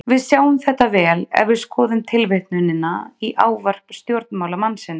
Við sjáum þetta vel ef við skoðum tilvitnunina í ávarp stjórnmálamannsins.